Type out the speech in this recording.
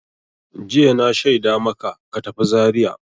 Jiya na shaida maka ka tafi Zariya!